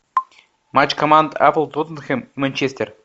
матч команд апл тоттенхэм манчестер